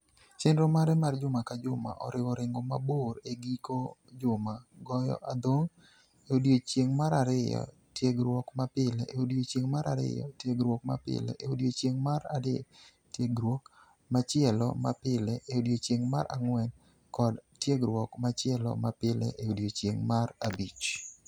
Chenro mare mar juma ka juma oriwo ringo mabor e giko juma, goyo adhong' e odiechieng' mar ariyo, tiegruok mapile e odiechieng' mar ariyo, tiegruok mapile e odiechieng' mar adek, tiegruok machielo mapile e odiechieng' mar ang'wen, kod tiegruok machielo mapile e odiechieng' mar abich.